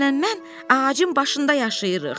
Taygerlə mən ağacın başında yaşayırıq.